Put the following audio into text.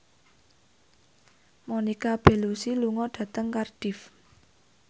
Monica Belluci lunga dhateng Cardiff